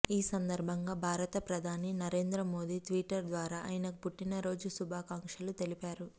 ఈ సందర్భంగా భారత ప్రధాని నరేంద్ర మోదీ ట్విటర్ ద్వారా ఆయనకు పుట్టిన రోజు శుభాకాంక్షలు తెలిపారు